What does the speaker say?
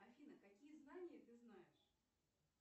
афина какие знания ты знаешь